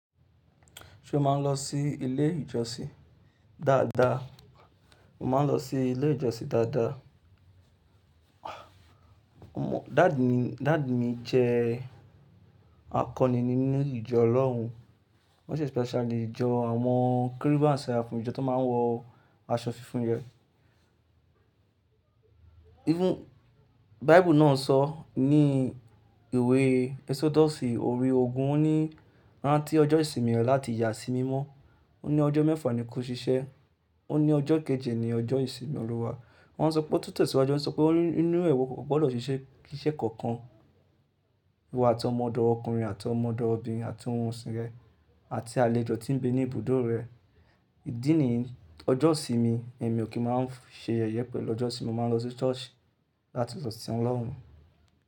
Ṣé o máa ń lọ sí ilé ìjọsìn? Dáadáa, mo máa ń lọ sí ilé ìjọsìn dáadáa. Mo, dad mi, dad mi jẹ akọni nínú ìjọ ọ́lorùn, wọ́n sì special ní ìjọ àwọn Cherubim and seraphim ìjọ tó máa ń wọ aṣọ funfun rẹ. Even, Bíble náà sọ ní ìwé Exodus òri ogún ó ní, rán tí ọjọ́ ìsinmi rẹ láti yà sí mímọ́. Ó ní ọjọ́ mẹ́fà ni kó ṣiṣẹ́. Ó ní ọjọ́ kejì ni ọjọ́ ìsinmi Olúwa. Wọ́n sọ pé ó tútù tèsiwàju, wọ́n sọ pé inú rẹ̀ wo kò gbọdọ̀ ṣiṣẹ́ iṣẹ́ kankan, wò àti ọmọ ọdọ ọkùnrin àti ọmọ ọdọ obìnrin àti ohun òsì rẹ àti àlejò tí ń gbé ní ibùdó rẹ. Ìdí nìyí, ọjọ́ ìsinmi èmi ò kí máa ń ṣe yẹ̀yẹ pẹ̀lú ọjọ́sin, mo máa ń lọ sí church láti lọ sìn Ọlọ́run.